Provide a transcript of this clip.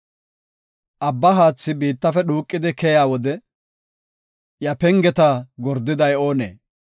Abba haathi biittafe dhuuqidi keyiya wode, iya pengeta gordiday oonee?